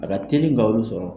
A ka teli ka olu sɔrɔ.